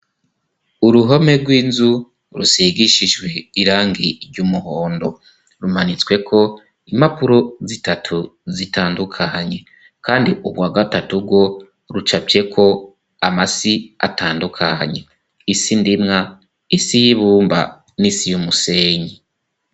Uruhome rw'inzu rusigishijwe irangi ry'umuhondo. Rumanitsweko impapuro zitatu zitandukanye, kandi urwa gatatu rwo rucafyeko amasi atandukanye: isi ndimwa, isi y'ibumba, n'isi y'umusenyi.